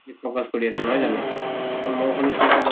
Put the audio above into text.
focus কৰি আছে নহয় জানো? মই শুনিছো এতিয়া লগত